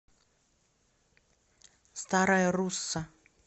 старая русса